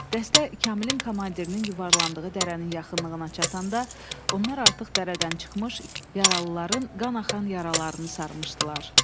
Dəstə Kamilin komandirinin yuvarlandığı dərənin yaxınlığına çatanda, onlar artıq dərədən çıxmış yaralıların qan axan yaralarını sarmışdılar.